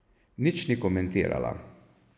Nič ni komentirala.